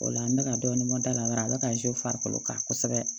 O la n bɛ ka dɔɔnin mɔ da la a bɛ ka farikolo kan kosɛbɛ